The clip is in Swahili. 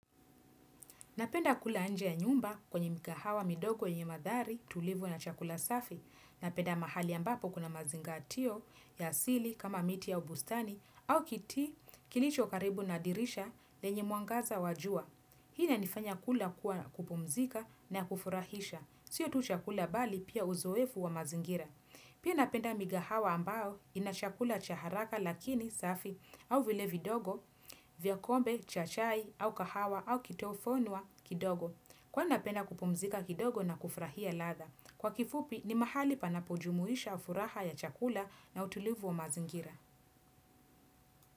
Napenda kula nje ya nyumba kwenye mikahawa midogo yenye madhari tulivu na chakula safi. Napenda mahali ambapo kuna mazingaatio ya asili kama miti au bustani au kiti kilicho karibu na dirisha lenye mwangaza wa jua. Hii inanifanya kula kuwa kupumzika na kufurahisha. Sio tu chakula bali pia uzoefu wa mazingira. Pia napenda migahawa ambao ina chakula cha haraka lakini safi au vile vidogo vya kombe cha chai au kahawa au kitofunwa kidogo. Kwani napenda kupumzika kidogo na kufurahia ladha. Kwa kifupi ni mahali panapojumuisha furaha ya chakula na utulivu wa mazingira.